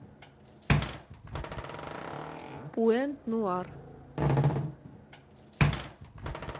пуэнт нуар